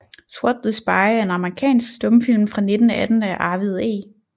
Swat the Spy er en amerikansk stumfilm fra 1918 af Arvid E